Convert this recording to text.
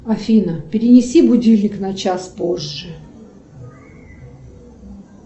афина перенеси будильник на час позже